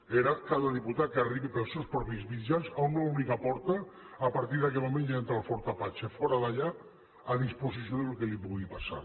era cada diputat que arribi pels seus propis mitjans a una única porta a partir d’aquell moment ja entra en el fort apache fora d’allà a disposició del que li pugui passar